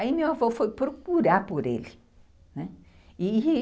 Aí meu avô foi procurar por ele, né.